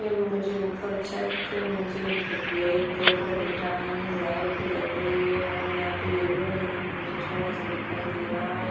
ए मुझे ऊपर छत से मुझे ब्लैक कलर का दिख रहा है यहाँ लाइट जल रही है और यहाँ पे येल्लो कलर भी मुझे थोड़ा सा दिखाई दे रहा है ।